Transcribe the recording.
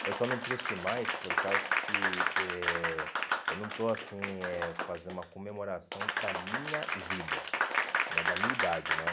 Eu só não trouxe mais por causa que eh eu não estou assim eh fazendo uma comemoração da minha vida né, da minha idade, né?